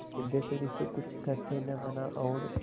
सिद्धेश्वरी से कुछ कहते न बना और